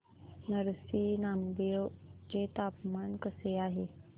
नरसी नामदेव चे तापमान कसे आहे